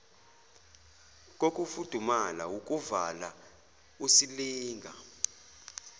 kokufudumala wukuvala usilinga